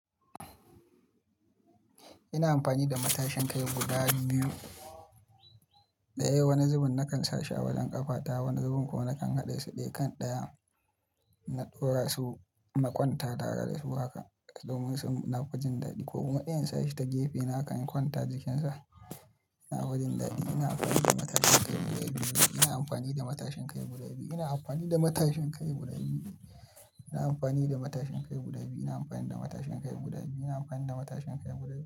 Ina amfani da matashin kai guda biyu. Ɗaya, wani zubun nakan sa shi a wajen ƙafata, wani zubun kuma nakan haɗe su ɗaya kan ɗayan. Na ɗora su, na kwanta tare da su haka domum nafi jin daɗi ko kuma daya in sashi ta gefe na haka in kwanta jikinsa. Nafi jin daɗi. Ina amfani da matashin kai guda biyu. Ina amfani da matashin kai guda biyu. Ina amfani da matashin kai guda biyu. Ina amfani da matashin kai guda biyu. Ina amfani da matashin kai guda biyu. Ina amfani da matashin kai guda biyu.